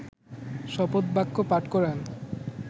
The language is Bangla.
শপথবাক্য পাঠ করান